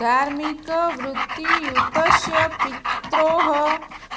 धार्मिकवृत्तियुतस्य पित्रोः